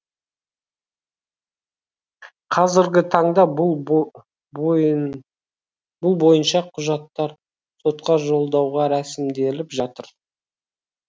қазіргі таңда бұл бойынша құжаттар сотқа жолдауға рәсімделіп жатыр